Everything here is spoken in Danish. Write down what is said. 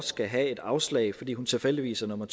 skal have et afslag fordi hun tilfældigvis er nummer